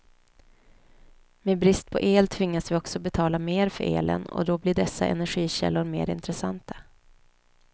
Med brist på el tvingas vi också betala mer för elen och då blir dessa energikällor mer intressanta.